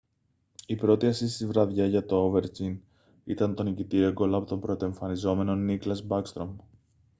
η πρώτη ασίστ της βραδιάς για τον ovechkin ήταν το νικητήριο γκολ από τον πρωτοεμφανιζόμενο nicklas backstrom